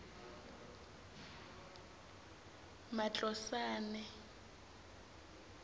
matlosane